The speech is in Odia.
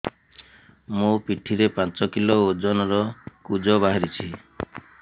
ମୋ ପିଠି ରେ ପାଞ୍ଚ କିଲୋ ଓଜନ ର କୁଜ ବାହାରିଛି